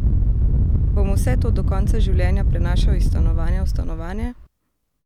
Bom vse to do konca življenja prenašal iz stanovanja v stanovanje?